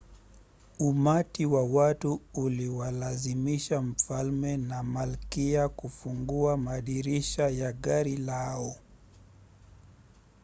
umati wa watu uliwalazimisha mfalme na malkia kufungua madirisha ya gari lao